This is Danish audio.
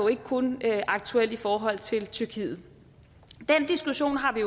ikke kun er aktuel i forhold til tyrkiet den diskussion har vi